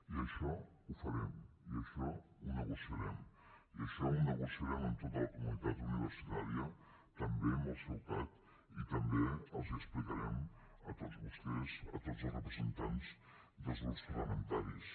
i això ho farem i això ho negociarem i això ho negociarem amb tota la comunitat universitària també amb el ceucat i també els ho explicarem a tots vostès a tots els representants dels grups parlamentaris